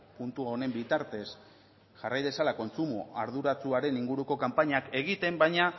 puntu honen bitartez jarrai dezala kontsumo arduratsuaren inguruko kanpainak egiten baina